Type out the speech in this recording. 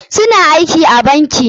Su na aiki a banki.